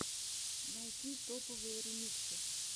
найти топовые ремиксы